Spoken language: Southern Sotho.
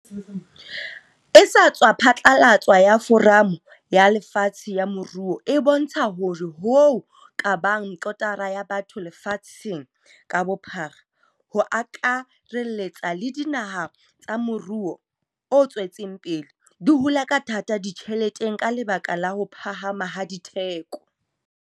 e sa tswa phatlalatswa ya Foramo ya Lefatshe ya Moruo e bontsha hore hoo ka bang kotara ya batho lefatsheng ka bophara, ho akarelletsa le dinaha tsa morou o tswetseng pele, di hula ka thata ditjheleteng ka lebaka la ho phahama ha ditheko.